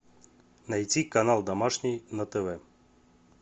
найти канал домашний на тв